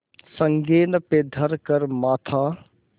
संगीन पे धर कर माथा